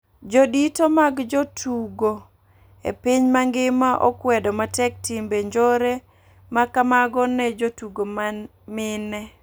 Jo dito mag jo tugo e piny mangima okwedo matek timbe njore ma kamago ne jotugo ma mine,